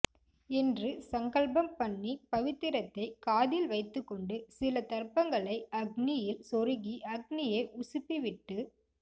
என்று சங்கல்பம் பண்ணி பவித்திரத்தை காதில் வைத்துக்கொண்டு சில தர்பங்களை அக்நியில் சொருகி அக்நியை உசுப்பிவிட்டு